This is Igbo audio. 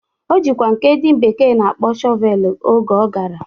O jikwa nke ndị bekee na-akpọ Shọvelu oge ọ gara.